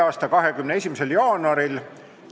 a 21. jaanuaril.